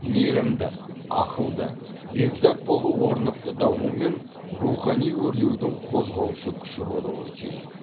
мейірімді ақылды бекзат болу орнықты даму мен рухани өрлеудің қозғаушы күші болуы тиіс